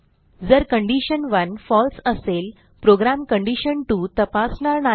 जर कंडिशन 1 फळसे असेल प्रोग्रॅम कंडिशन2 तपासणार नाही